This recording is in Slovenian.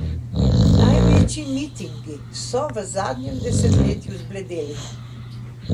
Največji mitingi so v zadnjem desetletju zbledeli.